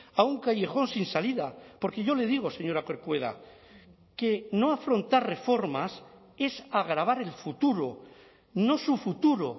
a un callejón sin salida porque yo le digo señora corcuera que no afrontar reformas es agravar el futuro no su futuro